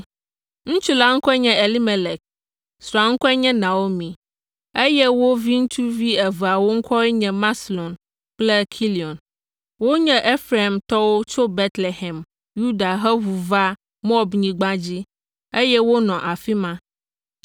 Ŋutsu la ŋkɔe nye Elimelek, srɔ̃a ŋkɔe nye Naomi, eye wo viŋutsu eveawo ŋkɔwoe nye Maxlon kple Kilion. Wonye Efraimtɔwo tso Betlehem, Yuda heʋu va Moabnyigba dzi, eye wonɔ afi ma.